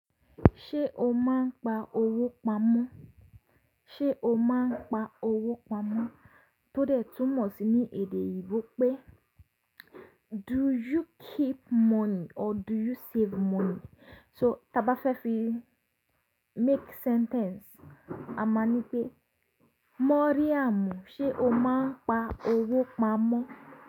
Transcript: Ṣé o máa ń pa owó pamọ́? Ṣé o máa ń pa owó pamọ́? Tódẹ̀ tún mọ̀ sí ní èdè òyìnbó pé "Do you keep money or do you save money?" So tá bá fẹ́ fi make sentence, a máa ń ní pé: "Moriáàmú, ṣe o máa ń pa owó pamọ́?"